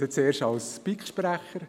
Ich spreche zuerst als BiK-Sprecher.